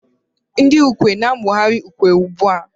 Ndị ukwe na-amụgharị ukwe ugbu a